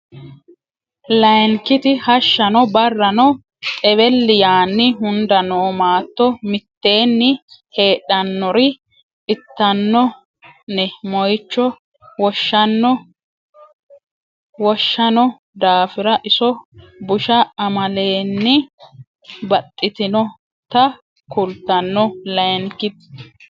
Layinkiti Hashshano barranno xewelli yaanni hunda noo maatto mitteenni heedhannori itanno ne moyicho woshshanno daafira iso busha amaalenni baxxitinota kultanno Layinkiti.